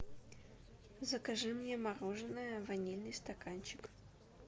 закажи мне мороженое ванильный стаканчик